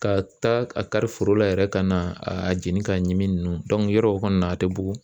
Ka taa a kari foro la yɛrɛ ka na a jeni k'a ɲimini yɔrɔ kɔni a tɛ bugun.